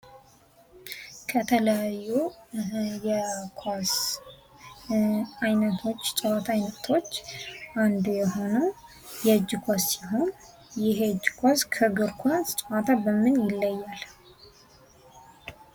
የተለያዩ የኳስ ጨዋታ አይነቶች አንዱ የሆነው የእጅ ኳስ ሲሆን ይህ የእጅ ኳስ ከእግር ኳስ በምን ይለያል?